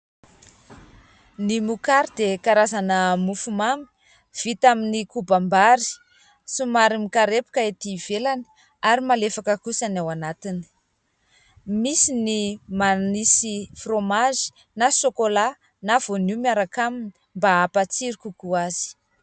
Ny mokary dia karazana mofomamy vita amin'ny kobam-bary, somary mikarepoka etỳ ivelany ary malefaka kosa ny ao anatiny. Misy ny manisy fromazy na sôkôlà na voanio miaraka aminy mba hampatsiro kokoa azy.